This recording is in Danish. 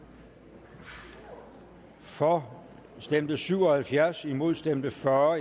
for stemte syv og halvfjerds imod stemte fyrre